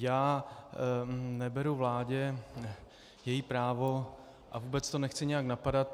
Já neberu vládě její právo a vůbec to nechci nějak napadat.